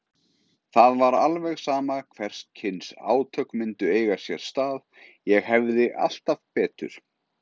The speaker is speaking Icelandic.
Það var alveg sama hvers kyns átök myndu eiga sér stað, ég hefði alltaf betur.